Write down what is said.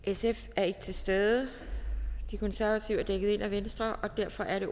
sf er ikke til stede de konservative er dækket ind af venstre og derfor er det